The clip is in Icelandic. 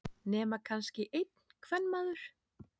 Nema kannski einn kvenmaður.